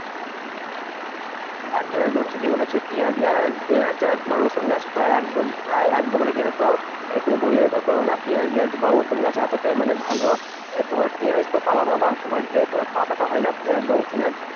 একদম একদম ঠিকই বলেছো পিঁয়াজ গাছ আর পিঁয়াজ আর তোমার রসুন গাছ প্রায় একদম প্রায় একদম। মানে কি জানতো কেউ বললে বিশ্বাস করবে না পিঁয়াজ গাছ বা রসুন গাছ এতটাই মানে ভালো তোমার পিঁয়াজ তো পাবা পাবা তোমার যে তোমার পাতাটা হয় না পিঁয়াজ বা রসুনের